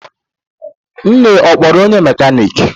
Nne ọ kpọrọ onye mekaniki?